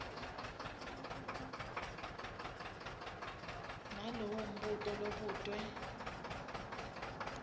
nalowo mbuto lobutwe